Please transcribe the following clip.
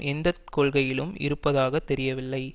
எந்த கொள்கையிலும் இருப்பதாக தெரியவில்லை